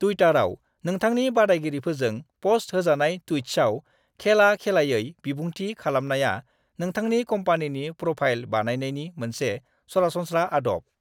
टुइटाराव नोंथांनि बादायगिरिफोरजों पोस्ट होजानाय ट्वीट्सआव खेला-खेलायै बिबुंथि खालामनाया नोंथांनि कम्पनीनि प्रोफाइल बानायनायनि मोनसे सरासनस्रा आदब।